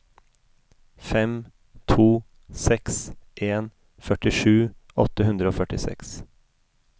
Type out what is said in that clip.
fem to seks en førtisju åtte hundre og førtiseks